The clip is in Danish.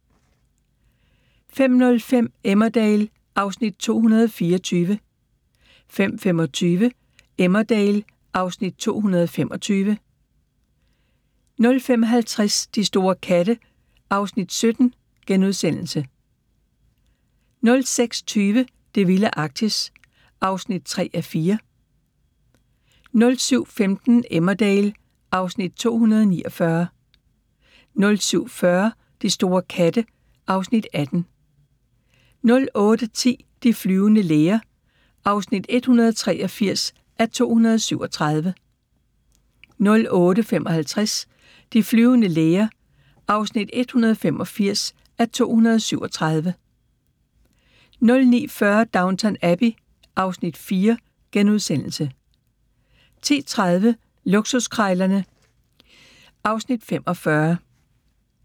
05:05: Emmerdale (Afs. 224) 05:25: Emmerdale (Afs. 225) 05:50: De store katte (Afs. 17)* 06:20: Det vilde Arktis (3:4) 07:15: Emmerdale (Afs. 249) 07:40: De store katte (Afs. 18) 08:10: De flyvende læger (183:237) 08:55: De flyvende læger (184:237) 09:40: Downton Abbey (Afs. 4)* 10:30: Luksuskrejlerne (Afs. 45)